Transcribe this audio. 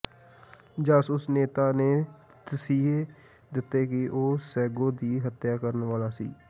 ਜਾਸੂਸ ਨੇਤਾ ਨੇ ਤਸੀਹੇ ਦਿੱਤੇ ਕਿ ਉਹ ਸੈਗੋ ਦੀ ਹੱਤਿਆ ਕਰਨ ਵਾਲਾ ਸੀ